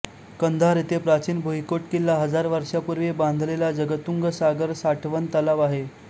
कंधार येथे प्राचीन भूईकोट किल्ला हजार वर्षापूर्वी बांधलेला जगतूंग सागर साठवण तलाव आहे